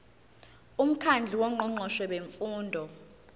umkhandlu wongqongqoshe bemfundo